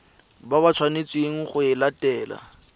ba tshwanetseng go e latela